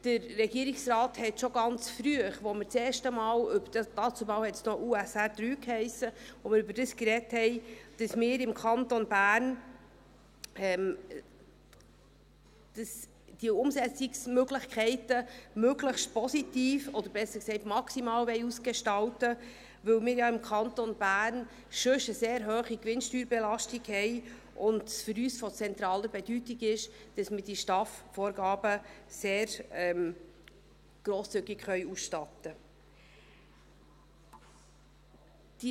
Der Regierungsrat hat schon ganz früh gesagt, als wir das erste Mal über die Unternehmenssteuerreform (USR) III gesprochen haben, wie sie damals noch hiess, dass wir im Kanton Bern diese Umsetzungsmöglichkeiten möglichst positiv, oder besser gesagt, maximal ausgestalten wollen, weil wir ja im Kanton Bern sonst schon eine sehr hohe Gewinnsteuerbelastung haben, und es für uns von zentraler Bedeutung ist, dass wir diese STAF-Vorgaben sehr grosszügig ausstatten können.